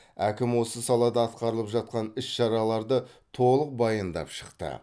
әкім осы салада атқарылып жатқан іс шараларды толық баяндап шықты